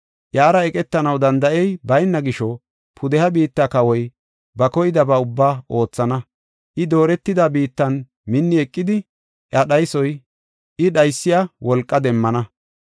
Iyara eqetanaw danda7ey bayna gisho pudeha biitta kawoy ba koydaba ubbaa oothana. I dooretida biittan minni eqidi, iya dhaysiya wolqa demmana.